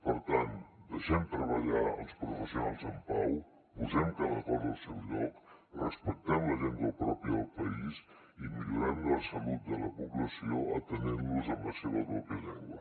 per tant deixem treballar els professionals en pau posem cada cosa al seu lloc respectem la llengua pròpia del país i millorem la salut de la població atenent los en la seva pròpia llengua